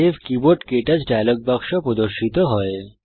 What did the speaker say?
save keyboard ক্টাচ dialog বাক্স প্রদর্শিত হয়